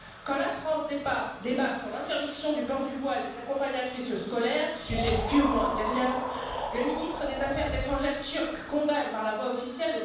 Quand la France débat de l'interdiction du port du voile des accompagnatrices scolaires sujet purement intérieur le ministre des affaires étrangères turc condamne le Sénat français par la voie officielle.